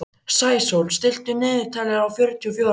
Sæsól, stilltu niðurteljara á fjörutíu og fjórar mínútur.